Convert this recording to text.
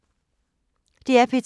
DR P2